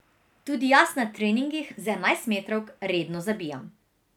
Tudi jaz na treningih z enajstmetrovk redno zabijam.